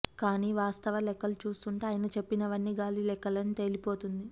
కానీ వాస్తవ లెక్కలు చూస్తుంటే ఆయన చెప్పినవన్నీ గాలి లెక్కల్ని తేలిపోతోంది